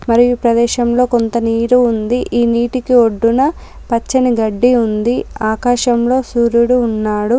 మరియు ఈ ప్రదేశంలో కొంత నీరు ఉంది. ఈ నీటికి ఒడ్డున పచ్చని గడ్డి ఉంది ఆకాశంలో సూర్యుడు ఉన్నాడు.